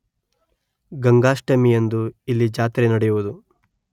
ಗಂಗಾಷ್ಟಮಿಯಂದು ಇಲ್ಲಿ ಜಾತ್ರೆ ನಡೆಯುವುದು.